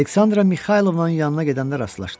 Aleksandra Mixaylovnanın yanına gedəndə rastlaşdım.